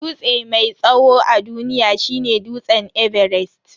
Dutse mai tsawo a duniya shine dutse everest.